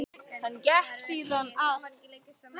Hann gekk síðan að